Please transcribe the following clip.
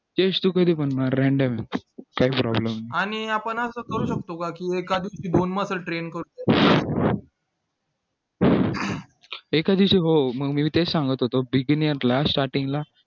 chest तर कधी पण मार randomly काय problem नाही एका दिवशी हो मग मी तेच सांगत होतो beginers ला starting ला